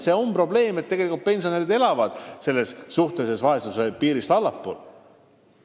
See on probleem, et pensionärid elavad suhtelise vaesuse piirist allpool.